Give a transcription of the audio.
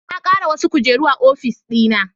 Na kara wasu kujeru a ofis dina